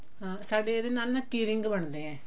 ਸਾਡੇ ਇਹਦੇ ਨਾਲ key ring ਬਣਦੇ ਆ